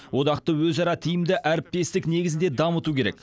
одақты өзара тиімді әріптестік негізінде дамыту керек